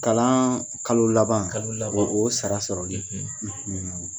Kalan kalo laban, kalo laban , o sara sɔrɔli,